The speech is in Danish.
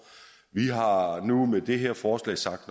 vi har har nu med det her forslag sagt